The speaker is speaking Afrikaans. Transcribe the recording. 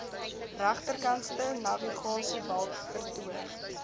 regterkantste navigasiebalk vertoon